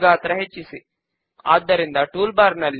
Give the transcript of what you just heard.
okay మనము పూర్తి చేసాము